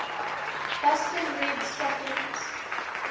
boston red stockings